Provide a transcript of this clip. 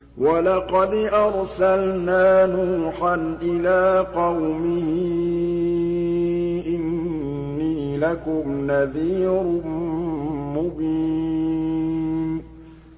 وَلَقَدْ أَرْسَلْنَا نُوحًا إِلَىٰ قَوْمِهِ إِنِّي لَكُمْ نَذِيرٌ مُّبِينٌ